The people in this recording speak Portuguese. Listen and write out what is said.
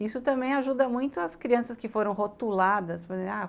Isso também ajuda muito as crianças que foram rotuladas. a